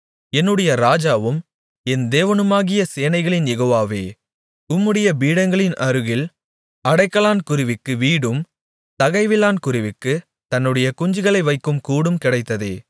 என்னுடைய ராஜாவும் என் தேவனுமாகிய சேனைகளின் யெகோவாவே உம்முடைய பீடங்களின் அருகில் அடைக்கலான் குருவிக்கு வீடும் தகைவிலான் குருவிக்குத் தன்னுடைய குஞ்சுகளை வைக்கும் கூடும் கிடைத்ததே